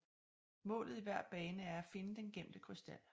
Målet i hver bane er at finde den gemte krystal